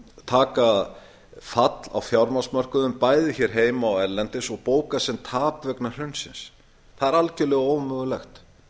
taka fall á fjármagnsmörkuðum bæði hér heima og erlendis og bóka sem tap vegna hrunsins það er algjörlega ómögulegt